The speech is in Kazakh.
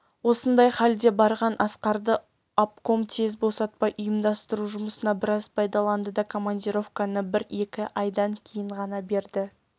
осындай халде барған асқарды обком тез босатпай ұйымдастыру жұмысына біраз пайдаланды да командировканы бір-екі айдан кейін ғана берді